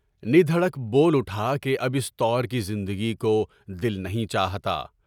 ندہڑک بول اٹھا کہ اب اِس طور کی زندگی کو دل نہیں چاہتا۔